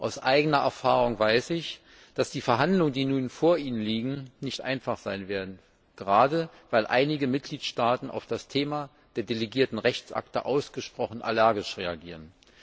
Aus eigener Erfahrung weiß ich, dass die Verhandlungen, die nun vor Ihnen liegen, nicht einfach sein werden, gerade weil einige Mitgliedstaaten auf das Thema der delegierten Rechtsakte ausgesprochen allergisch reagieren.